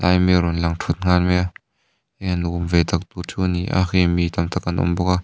mi an rawng lang thut nghal mai a nuam ve tak tur chu a ni a khi mi tam tak an awm bawk a.